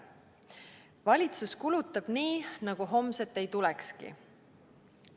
Valitsus kulutab nii, nagu homset ei tulekski.